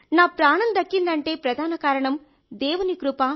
నా ప్రాణం దక్కిందంటే ప్రధాన కారణం దేవుని కృప